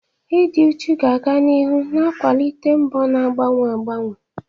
Ịdị uchu ga-aga n'ihu na-akwalite mbọ na-agbanwe agbanwe.